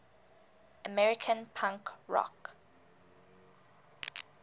american punk rock